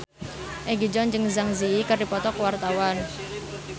Egi John jeung Zang Zi Yi keur dipoto ku wartawan